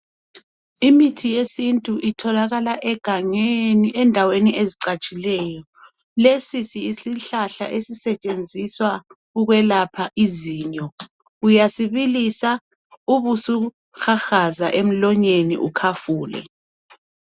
Imithi yesintu itholakala egangeni endaweni ezicatshileyo lesi yisihlahla esisetshenziswa ukwelapha izinyo uyasibilisa ubusuhahaza emlonyeni ukhafule.